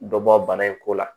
Dɔ bɔ bana in ko la